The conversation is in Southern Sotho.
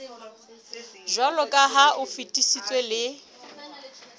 jwaloka ha o fetisitswe le